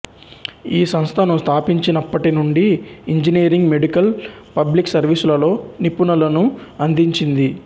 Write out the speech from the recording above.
ఈ సంస్థను స్థాపించినప్పటి నుండి ఇంజనీరింగ్ మెడుకల్ పబ్లిక్ సర్వీసులలో నిపుణులను అందించింది